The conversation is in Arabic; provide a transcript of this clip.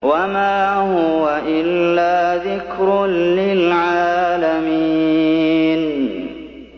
وَمَا هُوَ إِلَّا ذِكْرٌ لِّلْعَالَمِينَ